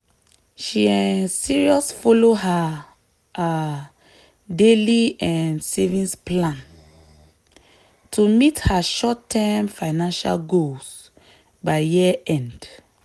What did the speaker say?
she um serious follow her um daily um savings plan to meet her short-term financial goals by year-end.